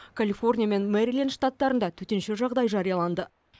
калифорния мен мэриленд штаттарында төтенше жағдай жарияланды